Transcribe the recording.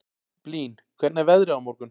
Blín, hvernig er veðrið á morgun?